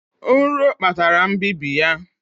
Nro kpatara mbibi ya